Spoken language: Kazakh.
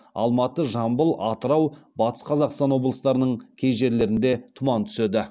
алматы жамбыл атырау батыс қазақстан облыстарының кей жерлерінде тұман түседі